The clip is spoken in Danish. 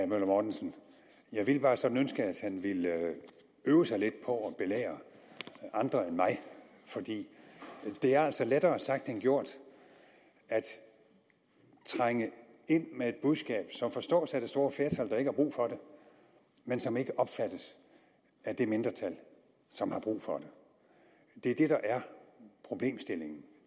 møller mortensen jeg vil bare sådan ønske at han ville øve sig lidt på at belære andre end mig for det er altså lettere sagt end gjort at trænge ind med et budskab som forstås af det store flertal som ikke har brug for det men som ikke opfattes af det mindretal som har brug for det det er det der er problemstillingen